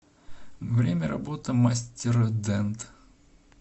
время работы мастердент